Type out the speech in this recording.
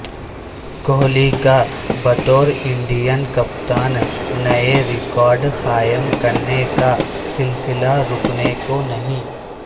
کوہلی کا بطور انڈین کپتان نئے ریکارڈ قائم کرنے کا سلسلہ رکنے کو نہیں